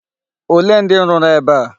Olee ndị rụrụ ebe a?